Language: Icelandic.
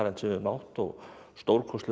við höfum átt og stórkostlegur